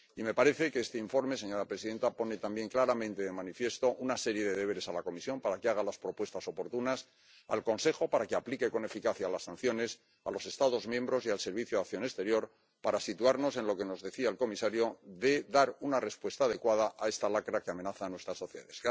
Me parece que este informe, señora presidenta, pone también claramente de manifiesto una serie de deberes a la Comisión para que haga las propuestas oportunas, al Consejo para que aplique con eficacia las sanciones, a los Estados miembros y al Servicio de Acción Exterior, para, como nos decía el comisario, poder dar una respuesta adecuada a esta lacra que amenaza nuestras sociedades.